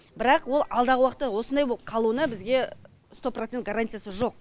бірақ ол алдағы уақытта осындай болып қалуына бізге сто процент гарантиясы жоқ